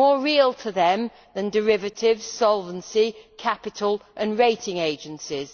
more real to them than derivatives, solvency, capital and rating agencies.